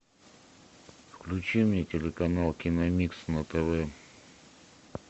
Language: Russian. включи мне телеканал киномикс на тв